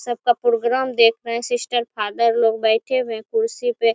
सबका प्रोग्राम देख रहे है सिस्टर फादर लोग बैठे हुए है कुर्सी पे--